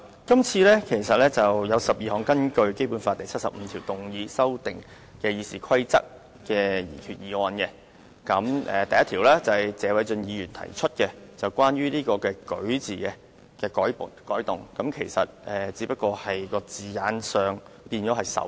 今次辯論涉及12項根據《基本法》第七十五條動議，藉以修訂《議事規則》的擬議決議案，第1項是謝偉俊議員提出以"舉"字修改原有的"擧"字。